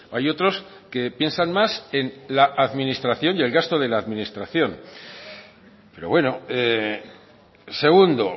hay otros que piensan más en la administración y el gasto de la administración pero bueno segundo